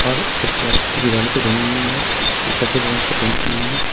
और कुछ कलाकृति दीवारों पे बनी हुई है जो सफेद रंग से पेंट की हुई है।